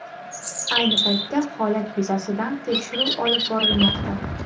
Ayni paytda holat yuzasidan tekshiruv olib borilmoqda.